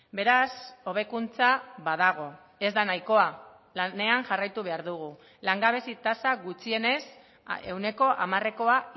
beraz hobekuntza badago ez da nahikoa lanean jarraitu behar dugu langabezi tasa gutxienez ehuneko hamarekoa